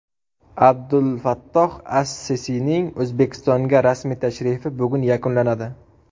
Abdulfattoh as-Sisining O‘zbekistonga rasmiy tashrifi bugun yakunlanadi.